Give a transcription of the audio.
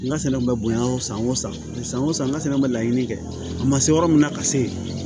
N ka sɛnɛ bɛ bonya o san wo san san o san n ka sɛnɛ bɛ laɲini kɛ a ma se yɔrɔ min na ka se yen